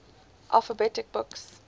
alphabet books